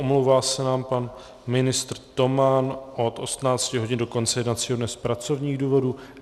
Omlouvá se nám pan ministr Toman od 18 hodin do konce jednacího dne z pracovních důvodů.